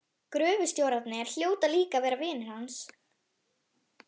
Gröfustjórarnir hljóta líka að vera vinir hans.